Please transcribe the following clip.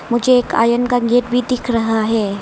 मुझे एक आयन का गेट भी दिख रहा है।